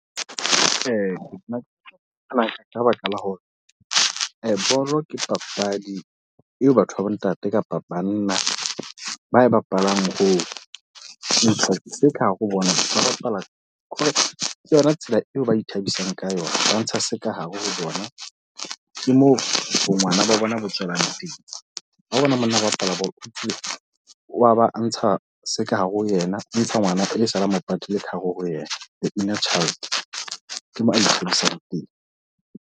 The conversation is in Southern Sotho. Nna baka la hore bolo ke papadi eo batho ba bontate kapa banna ba e bapalang ho ntsha seka hare ho bona. Ba bapala hore ke yona tsela eo ba ithabisang ka yona. Ba ntsha sekare ho bona, ke moo bo ngwana ba bona bo tswelang teng. Ha o bona monna a bapala bolo, wa ba ntsha se ka hare ho yena, a ntsha ngwana e sa le a mop atile ka hare ho yena, the inner child. Ke mo a mo phedisang teng.